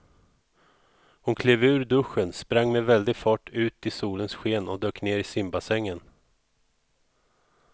Hon klev ur duschen, sprang med väldig fart ut i solens sken och dök ner i simbassängen.